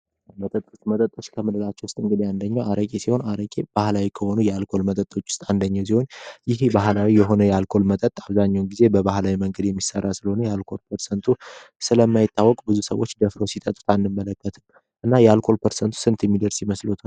የአልኮል መጠጦች ከምንላቸው ውስጥ አረቄ አንደኛ ባህላዊ የሆነ የአልኮል መጠጦች ውስጥ አንደኛው ሲሆን ይሄ ባህላዊ የሆነ የአልኮል መጠጥ አብዛኛውን ጊዜ በባህላዊ መንገድ የሚሰራ ስለሆነ የአልኮል ፐርሰንቱ ስለማይታወቅ ብዙ ሰዎች ደፍረው ሲጠጡት አንመለከትም። እና የአልኮል መጠኑ ስንት ፐርሰንት ይመስልዎታል?